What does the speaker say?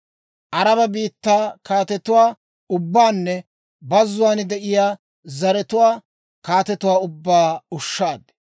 Araba biittaa kaatetuwaa ubbaanne bazzuwaan de'iyaa zaratuwaa kaatetuwaa ubbaa ushshaad.